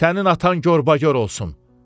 Sənin atan qorbaqor olsun.